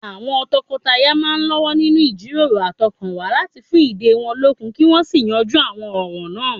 Àwọn tọkọtaya náà ń lọ́wọ́ nínú ìjíròrò àtọkànwá láti fún ìdè wọn lókun kí wọ́n sì yanjú àwọn ọ̀ràn náà